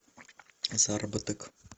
заработок